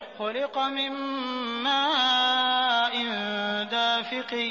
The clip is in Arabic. خُلِقَ مِن مَّاءٍ دَافِقٍ